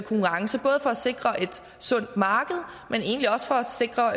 sikre et sundt marked men egentlig også for at sikre